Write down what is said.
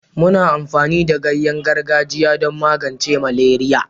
muna amfani da ganyen gargajiya don magance maleria